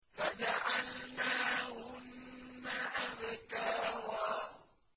فَجَعَلْنَاهُنَّ أَبْكَارًا